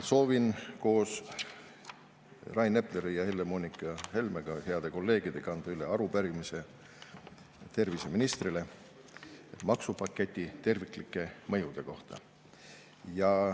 Soovin koos Rain Epleri ja Helle-Moonika Helmega, heade kolleegidega, anda üle arupärimise terviseministrile maksupaketi terviklike mõjude kohta.